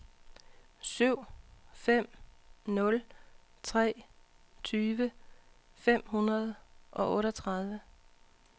syv fem nul tre tyve fem hundrede og otteogtredive